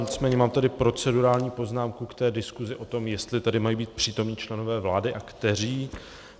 Nicméně mám tady procedurální poznámku k té diskusi o tom, jestli tady mají být přítomni členové vlády a kteří.